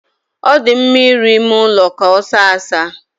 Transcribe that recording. Ọ dị mma ịrụ ime ụlọ ka ọ saa asaa.